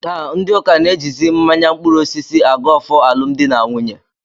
Taa ndị ụka na-ejizi mmanya mkpụrụosisi agọ ọfọ alụmdi na nwunye